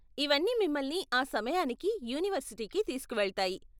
ఇవన్నీ మిమ్మల్ని ఆ సమయానికి యూనివర్సిటీకి తీస్కువెళ్తాయి.